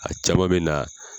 A cama bɛ na